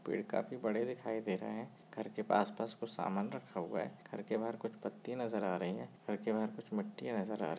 Paid काफी बड़े दिखाई दे रहे है घर के आस पास कुछ सामन रख हुआ है घर के बाहर कुछ पत्ते नज़र आ रहे है घर के बाहर कुछ मट्टियाँ नज़र आ रही है।